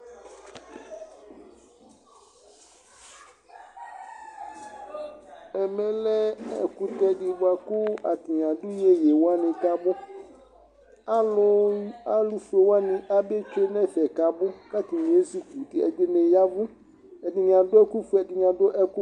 Ɛmɛ lɛ ɛkutɛ di bua ku atani adu iyeyewani k'abu, alu, alufuéwani abe tsué n'ɛfɛ k'abu, k'atani ezukuti, ɛdini yavù, ɛdini adu ɛku fue, ɛdini adu ɛku